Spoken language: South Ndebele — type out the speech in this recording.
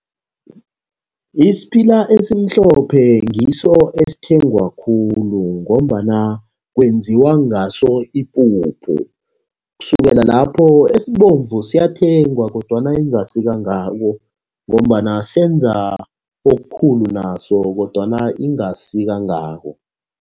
Isiphila esimhlophe ngiso esithengwa khulu, ngombana kwenziwa ngaso ipuphu. Kusukela lapho esibomvu siyathengwa kodwana ingasi kangako, ngombana senza okukhulu naso kodwana ingasi kangako.